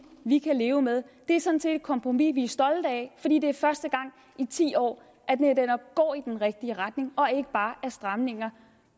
vi kan leve med det er sådan set et kompromis som vi er stolte af fordi det er første gang i ti år at vi netop går i den rigtige retning og ikke bare er stramninger